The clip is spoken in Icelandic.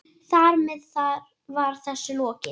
Þar með var þessu lokið.